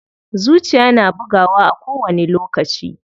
Zuciya na bugawa a kowani lokaci.